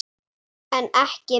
En ekki mér.